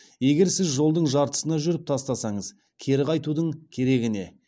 егер сіз жолдың жартысына жүріп тастасаңыз кері қайтудың керегі не